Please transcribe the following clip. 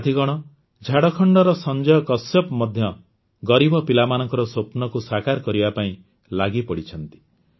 ସାଥିଗଣ ଝାଡ଼ଖଣ୍ଡର ସଂଜୟ କଶ୍ୟପ ମଧ୍ୟ ଗରିବ ପିଲାମାନଙ୍କର ସ୍ୱପ୍ନକୁ ସାକାର କରିବା ପାଇଁ ଲାଗିପଡ଼ିଛନ୍ତି